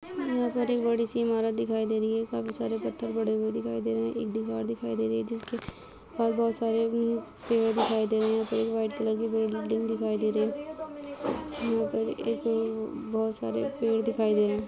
बड़ी सी इमारत दिखाई दे रही है काफी सारे पत्थर पड़े हुए दिखाई दे रहे हैं। एक दीवार दिखाई दे रही हैं जिसमे पास बहोत सारे पेड़ दिखाई दे रहे हैं वाइट कलर की बिल्डिंग दिखाई दे रही है यंहा पर एक बहोत सारे पेड़ दिखाई दे रहे हैं।